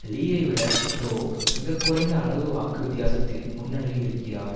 லீயைவிட Roh மிக குறைந்த அளவு வாக்கு வித்தியாசத்தில் முன்னணியில் இருக்கிறார்